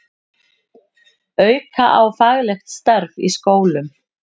Auka á faglegt starf í skólum